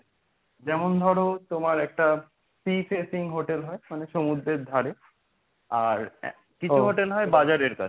যেমন ধরো তোমার একটা Sea facing hotel হয়. মানে সমুদ্রের ধারে আর কিছু hotel হয় বাজারের কাছে,